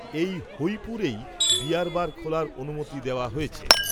এই হৈপুরেই beer bar খোলার অনুমতি দেওয়া হয়েছে